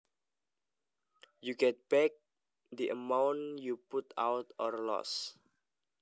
you get back the amount you put out or lost